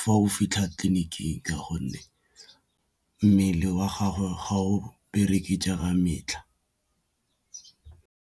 fa o fitlha tleliniking ka gonne mmele wa gagwe ga o bereke jaaka metlha.